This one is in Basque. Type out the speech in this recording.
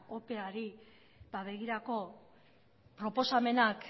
opeari begirako proposamenak